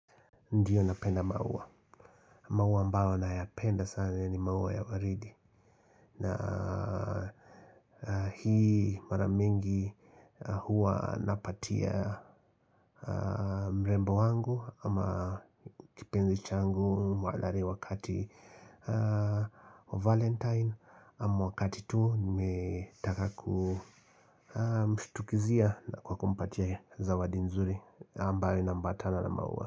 Ndio napenda maua. Maua ambao nayapenda sana ni maua ya waridi. Na hii mara mingi huwa napatia mrembo wangu ama kipenzi changu mwalari wakati wa valentine. Mwakati tu nimetaka kumshtukizia na kwa kumpatie zawadi nzuri ambayo inaambatana na maua.